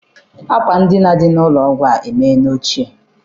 Akwa edina dị n'ụlọ ọgwụ a emeela ochie.